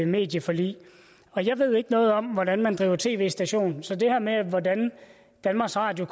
medieforlig jeg ved ikke noget om hvordan man driver en tv station så det her med hvordan danmarks radio